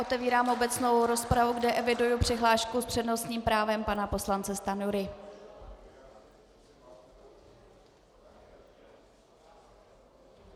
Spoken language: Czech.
Otevírám obecnou rozpravu, kde eviduji přihlášku s přednostním právem pana poslance Stanjury.